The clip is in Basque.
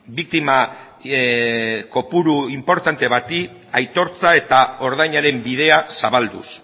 biktima kopuru inportante bati aitortza eta ordainaren bidea zabalduz